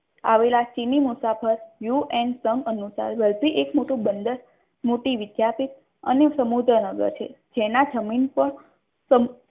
આવેલા ચીની મુસાફર યુ એન સમ અનુસાર વલભી એક મોટું બંદર મોટી વિદ્યાપીઠ અને સમુદ્ર નગર છે. જેના જમીન પર સંપૂર્ણ